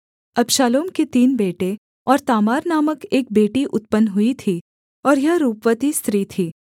अबशालोम के तीन बेटे और तामार नामक एक बेटी उत्पन्न हुई थी और यह रूपवती स्त्री थी